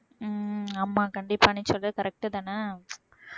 உம் ஆமா கண்டிப்பா நீ சொல்றது correct தானே